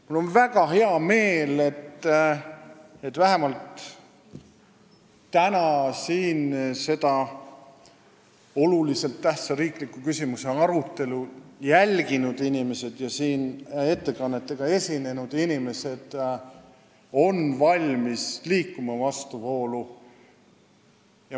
Mul on väga hea meel, et vähemalt täna siin seda olulise tähtsusega riikliku küsimuse arutelu jälginud inimesed ja siin ettekannetega esinenud inimesed on valmis liikuma vastuvoolu.